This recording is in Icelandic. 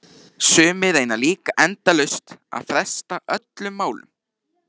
Sumir reyna líka endalaust að fresta öllum málum.